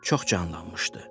Çox canlanmışdı.